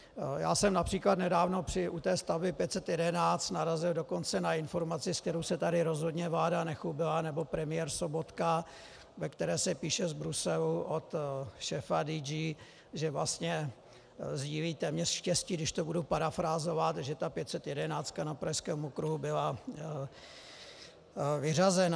Já jsem například nedávno u té stavby 511 narazil dokonce na informaci, se kterou se tady rozhodně vláda nechlubila, nebo premiér Sobotka, ve které se píše z Bruselu od šéfa DG, že vlastně sdílí téměř štěstí, když to budu parafrázovat, že ta 511 na Pražském okruhu byla vyřazena.